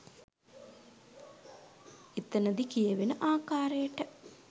එතනදි කියවෙන ආකාරයට